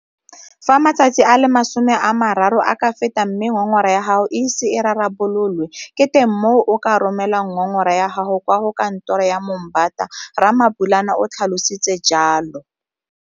Fa matsatsi a le 30 a ka feta mme ngongora ya gago e ise e rarabololwe, ke teng mo o ka romelang ngongora ya gago kwa go Kantoro ya Moombata, Ramabulana o tlhalositse jalo.